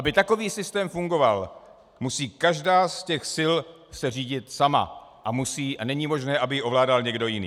Aby takový systém fungoval, musí každá z těch sil se řídit sama a není možné, aby ji ovládal někdo jiný.